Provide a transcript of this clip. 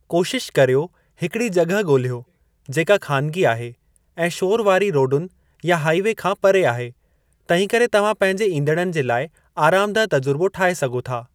कोशिश करियो हिकिड़ी जॻहि ॻोल्हियो जेका ख़ानिगी आहे ऐं शोरु वारी रोडुनि या हाइ वे खां परे आहे तंहिंकरे तव्हां पंहिंजे ईंदड़नि जे लाइ आरामदह तजुर्बो ठाहे सघो था।